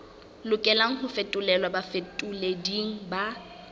lokelang ho fetolelwa bafetoleding ba